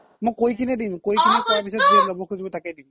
মই কই কিনে দিম তাকেই দিম